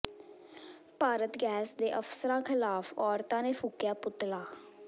Bharat Gas ਦੇ ਅਫ਼ਸਰਾਂ ਿਖ਼ਲਾਫ਼ ਔਰਤਾਂ ਨੇ ਫੂਕਿਆ ਪੁਤਲਾ